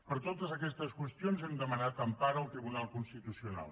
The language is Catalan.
per totes aquestes qüestions hem demanat empara al tribunal constitucional